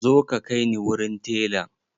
Zo ka kai ni wurin telan!